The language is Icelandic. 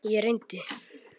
Ég reyndi.